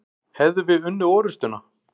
Hefðum við unnið orustuna?